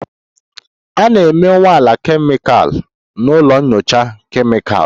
A na-eme nnwale kemịkal na ụlọ nyocha kemịkalụ